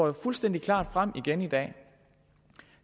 jo fuldstændig klart frem igen i dag